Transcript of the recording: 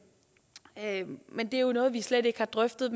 men det er jo noget vi slet ikke har drøftet